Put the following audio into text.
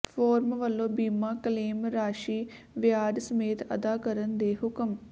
form ਵਲੋਂ ਬੀਮਾ claim ਰਾਸ਼ੀ ਵਿਆਜ ਸਮੇਤ ਅਦਾ ਕਰਨ ਦੇ ਹੁਕਮ